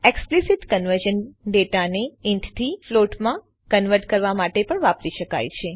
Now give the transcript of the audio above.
explicit conversion ડેટાને int થી float માં કન્વર્ટ કરવા માટે પણ વાપરી શકાય છે